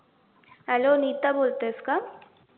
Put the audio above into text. hello Nita बोलतेस का?